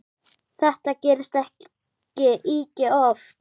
Þetta gerist ekki ýkja oft.